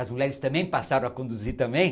As mulheres também passaram a conduzir também.